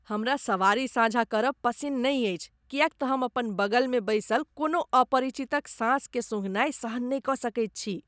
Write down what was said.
हमरा सवारी साझा करब पसिन्न नहि अछि किएक तँ हम अपन बगलमे बैसल कोनो अपरिचितक साँसकेँ सूँघनाय सहन नहि कऽ सकैत छी।